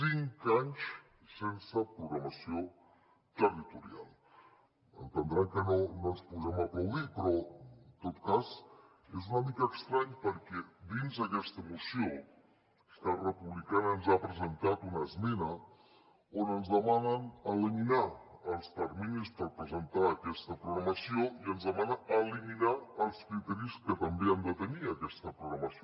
cinc anys sense programació territorial deuen entendre que no ens posem a aplaudir però en tot cas és una mica estrany perquè dins aquesta moció esquerra republicana ens ha presentat una esmena on ens demanen eliminar els terminis per presentar aquesta programació i ens demana eliminar els criteris que també ha de tenir aquesta programació